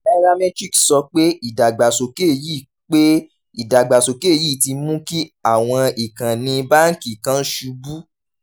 nairametrics sọ pé ìdàgbàsókè yìí pé ìdàgbàsókè yìí ti mú kí àwọn ìkànnì báńkì kan ṣubú.